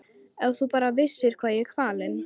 Ef þú bara vissir hvað ég er kvalinn.